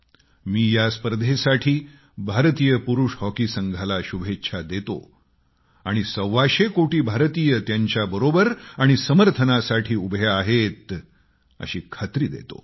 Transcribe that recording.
मी या स्पर्धेसाठी भारतीय पुरुष हॉकी संघाला शुभेच्छा देतो आणि सव्वाशे कोटी भारतीय त्यांच्याबरोबर आणि समर्थनासाठी उभे आहेत अशी खात्री देतो